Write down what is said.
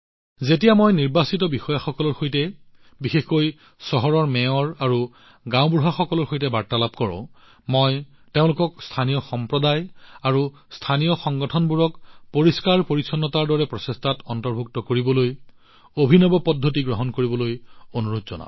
যেতিয়া মই নিৰ্বাচিত বিষয়াসকলৰ সৈতে বিশেষকৈ চহৰৰ মেয়ৰ আৰু গাওঁসমূহৰ চৰপঞ্চসকলৰ সৈতে বাৰ্তালাপ কৰোঁ মই তেওঁলোকক স্থানীয় সম্প্ৰদায় আৰু স্থানীয় সংগঠনবোৰক পৰিষ্কাৰপৰিচ্ছন্নতাৰ দৰে প্ৰচেষ্টাত অন্তৰ্ভুক্ত কৰিবলৈ উদ্ভাৱনী পদ্ধতি গ্ৰহণ কৰিবলৈ অনুৰোধ জনাও